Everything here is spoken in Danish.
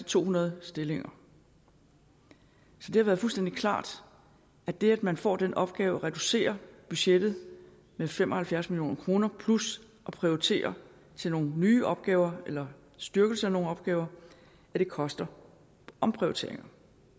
to hundrede stillinger så det har været fuldstændig klart at det at man får den opgave at reducere budgettet med fem og halvfjerds million kroner plus at prioritere til nogle nye opgaver eller styrkelse af nogle opgaver koster omprioriteringer